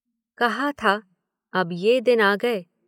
कहा था, अब ये दिन आ गए।